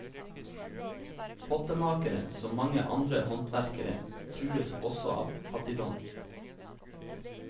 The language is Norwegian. Pottemakere, som mange andre håndverkere, trues også av fattigdom.